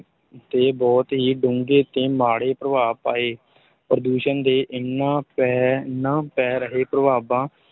ਤੇ ਬਹੁਤ ਹੀ ਡੂੰਘੇ ਤੇ ਮਾੜੇ ਪ੍ਰਭਾਵ ਪਾਏ, ਪ੍ਰਦੂਸ਼ਣ ਦੇ ਇਹਨਾਂ ਪੈ, ਇਹਨਾਂ ਪੈ ਰਹੇ ਪ੍ਰਭਾਵਾਂ,